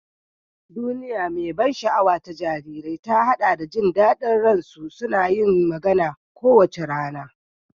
Duniya mai ban sha'awa ta jarirai ta haɗa da jin daɗin jin su suna yin magana kowace rana.